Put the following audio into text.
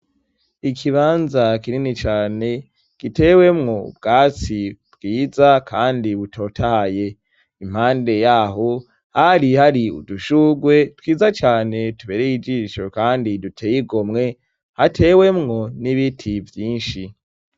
ikibanza kinini cane gitewemwo ubwatsi bwiza kandi butotahaye impande yaho hari hari udushugwe twiza cane tubereye ijisho kandi duteyigomwe hatewemwo n'ibiti vyinshi